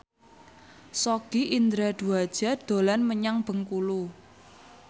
Sogi Indra Duaja dolan menyang Bengkulu